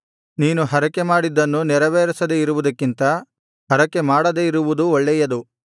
ನೀನು ಹರಕೆಮಾಡಿದ್ದನ್ನು ನೆರವೇರಿಸದೆ ಇರುವುದಕ್ಕಿಂತ ಹರಕೆಮಾಡದೆ ಇರುವುದು ಒಳ್ಳೆಯದು